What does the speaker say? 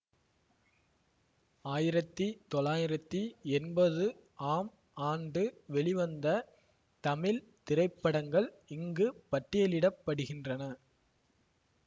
ஆயிரத்தி தொளாயிரத்தி எண்பது ஆம் ஆண்டு வெளிவந்த தமிழ் திரைப்படங்கள் இங்கு பட்டியலிட படுகின்றன